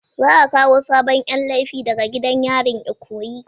Za a kawo sabon Yan laifi daga gidan yarin ikoyi.